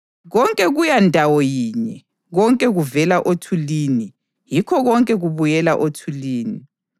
Konke kuya ndawo yinye; konke kuvela othulini, yikho konke kubuyela othulini.